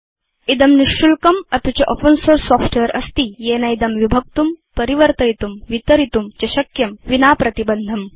इदं निशुल्कम् अपि च ओपेन सोर्स सॉफ्टवेयर अस्ति येनेदं विभक्तुं परिवर्तयितुं वितरितुं च शक्यं विना प्रतिबन्धम्